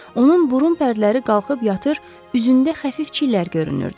Onun burun pərdələri qalxıb yatır, üzündə xəfif çillər görünürdü.